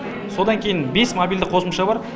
содан кейін бес мобильдік қосымша бар